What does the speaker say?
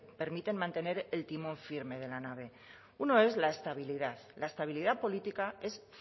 permiten mantener el timón firme de la nave uno es la estabilidad la estabilidad política es